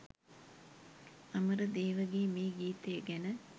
අමරදේවගේ මේ ගීතය ගැන